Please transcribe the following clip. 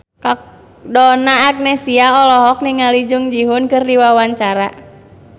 Donna Agnesia olohok ningali Jung Ji Hoon keur diwawancara